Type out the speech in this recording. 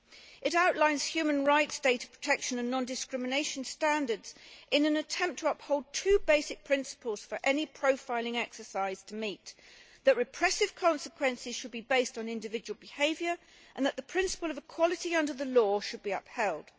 It outlines human rights, data protection and non discrimination standards in an attempt to uphold two basic principles for any profiling exercise to meet that repressive consequences should be based on individual behaviour, and that the principle of equality under the law should be upheld.